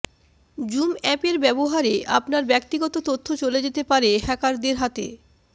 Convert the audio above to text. zoom অ্যাপের ব্যবহারে আপনার ব্যক্তিগত তথ্য চলে যেতে পারে হ্যাকারদের হাতে